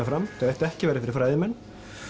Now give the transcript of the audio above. fram ætti ekki að vera fyrir fræðimenn